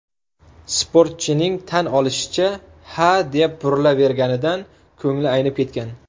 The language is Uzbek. Sportchining tan olishicha, hadeb burilaverganidan ko‘ngli aynib ketgan.